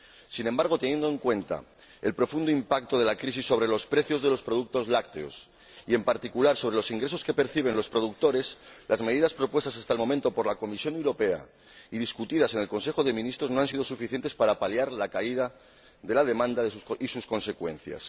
Sin embargo, teniendo en cuenta el profundo impacto de la crisis sobre los precios de los productos lácteos y, en particular, los ingresos que perciben los productores, las medidas propuestas hasta el momento por la Comisión Europea y debatidas en el Consejo de Ministros no han sido suficientes para paliar la caída de la demanda y sus consecuencias.